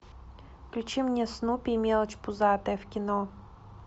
включи мне снупи и мелочь пузатая в кино